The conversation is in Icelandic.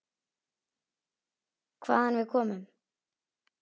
Hvaðan við komum.